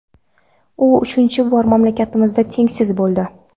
U uchinchi bor mamlakatimizda tengsiz bo‘ldi.